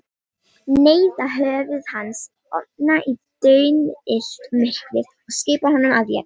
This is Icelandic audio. Neyða höfuð hans ofan í daunillt myrkrið og skipa honum að éta.